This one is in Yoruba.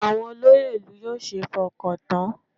Àwọn olóyè ìlú yóò ṣeé fọkàn tán